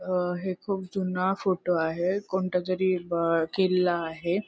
अ हे खूप जुना फोटो आहे कोणतातरी किल्ला आहे.